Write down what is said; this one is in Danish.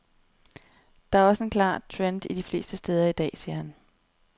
Det er også en klar trend de fleste steder i dag, siger han.